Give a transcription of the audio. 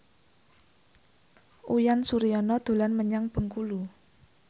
Uyan Suryana dolan menyang Bengkulu